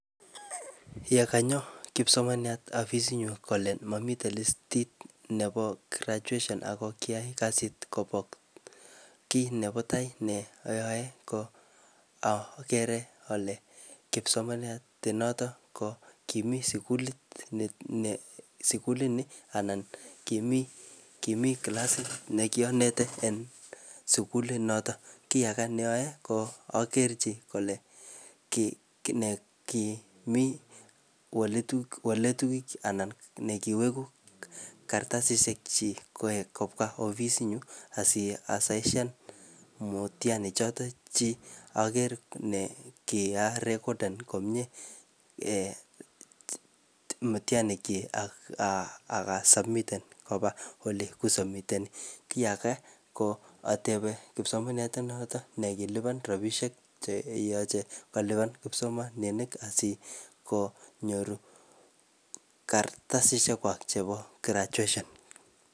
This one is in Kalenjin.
Yekanyo kipsomaniat afisit nyu kole mamite listit nebo graduation ako kiyae kasit kobok. Kiy nebo tai ne ayae ko agere ale kipsomaniat ne notok ko kimi sikulit ne sikulit nii anan kimii, kimii klasit ne kianete eng sukulit notok. Kiy age ne ayae ko akerchi kole kiy ne kimi waletuk waletuik anan ne kiwegu kartasishek chik kowek kobwa ofisit nyu, asi asaishan mutihani choton chik akere ne kiarekden komyee um mitihani chik akasubmiten koba ole kisubmiteni. Kiy age, ko atebe kispomaniat notok ne kilipan rabisiek che yache kolipan kipsomaninik asikonyor kartasishek kwak chebo graduation